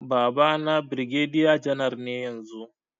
Babana birgediya janar ne yanzu